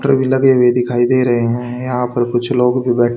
waiter भी लगे हुए दिखाई दे रहे हैं यहां पर कुछ लोग बैठ--